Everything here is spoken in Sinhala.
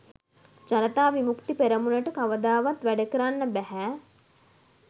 ජනතා විමුක්ති පෙරමුණට කවදාවත් වැඩකරන්න බැහැ